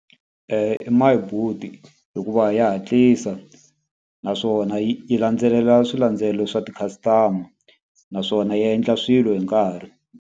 I My Boet hikuva ya hatlisa naswona yi yi landzelela swilandzelelo swa ti-customer. Naswona yi endla swilo hi nkarhi.